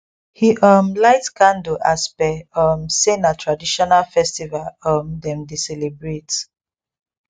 he um lite candle as par um say na traditional festival um dem dey celebrate